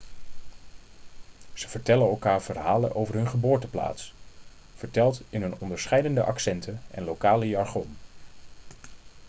ze vertellen elkaar verhalen over hun geboorteplaats verteld in hun onderscheidende accenten en lokale jargon